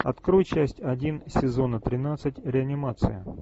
открой часть один сезона тринадцать реанимация